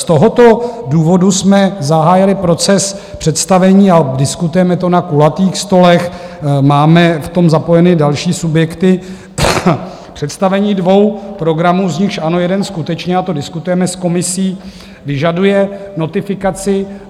Z tohoto důvodu jsme zahájili proces představení - a diskutujeme to na kulatých stolech, máme v tom zapojeny další subjekty - představení dvou programů, z nichž ano, jeden skutečně, a to diskutujeme s komisí, vyžaduje notifikaci.